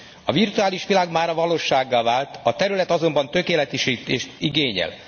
A virtuális világ mára valósággá vált, a terület azonban tökéletesítést igényel.